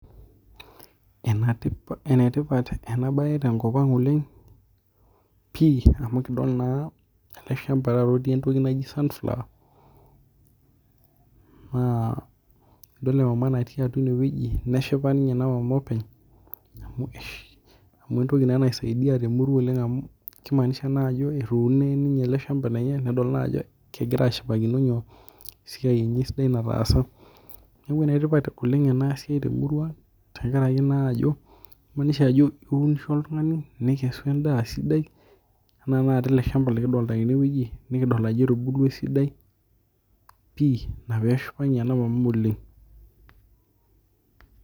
Eneitipat ena bae tenkop ang' pii amu idol ele shamba looti entoki naji sunflower naa idol emama nati atua ineweji neshipa ninye ina mama openy amuu entoki naa naisadia te murua amu keimanisha naa ajo etuno ninye ele shamba lenye nedol naa ajo kegira aikaja ashipakino eisai sidia nataasa neeku enetipata oleng' ena siai te murua amu eleio anaa ajo kei maanisha ajo iunisho oltung'ani nikesu edaa sidia ena tenakata ele shamba likidolita teneweji nikidolita naa ajo etubulua esidai pii ina pee eshipa ninye ena Mama oleng' .